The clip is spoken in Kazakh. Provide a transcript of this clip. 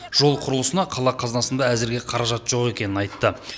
жол құрылысына қала қазынасында әзірге қаражат жоқ екенін айтты